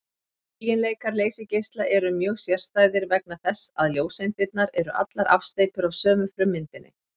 Eiginleikar leysigeisla eru mjög sérstæðir vegna þess að ljóseindirnar eru allar afsteypur af sömu frummyndinni.